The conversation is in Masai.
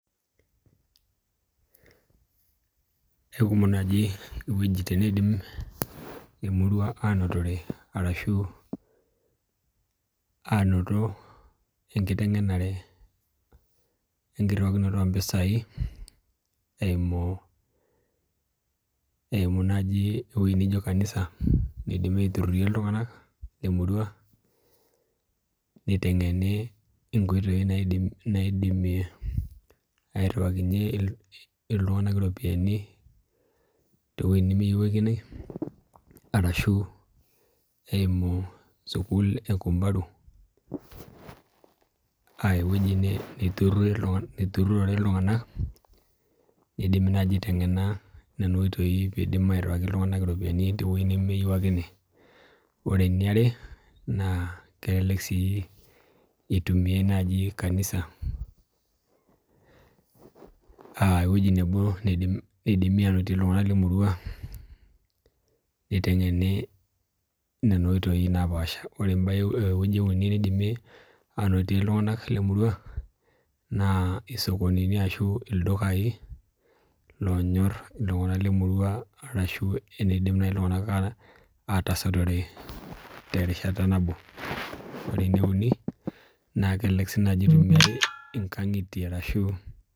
Eukumok naaji iwuejitin neidim emurua anotore arashu anoto engiteng' enare egierokinoto ompisai eimu eimu naji ewuei naijo kanisa naidimi aiturhurhie iltung'anak lemurua niteng'eni inkoitoi naidimi airhiwakinye iltung'anak iropiani towueitin nemeyiewuakini arashu eimu sukul ekumbaru aya ewueji niturhurhie iltung'anak nidimi naji aiteng'ena nena oitoi piidim airhiwaki iltung'anak iropiani oyiewuakini Ore eniare naa kelelek sii eitumiai nai kanisa aa ewueji nabo naidimi ainotie iltung'anak lemurua niteng'eni nena oitoi naapasha Ore embae ewueji euni nidimi anotie iltung'anak lemurua naa isokonini ashu ildukai loonyor iltung'anak lemurua arashu eniidim nai iltung'anak atasotore terishata nabo, ore enieuni naa kelelek sii nai epuoyiari inkang'itie